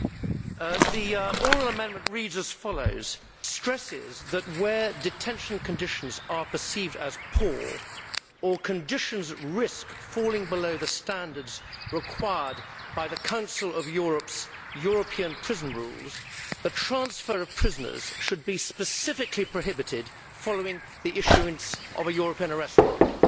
Madam President, the oral amendment reads as follows Stresses that where detention conditions are perceived as poor, or conditions risk falling below the standards required by the Council of Europe's European Prison Rules, the transfer of prisoners should be specifically prohibited following the issuing of a European arrest warrant'.